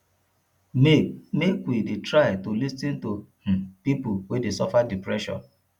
make make we try to dey lis ten to um pipo wey dey suffer depression